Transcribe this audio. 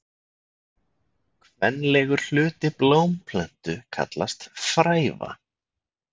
Kvenlegur hluti blómplöntu kallast fræva.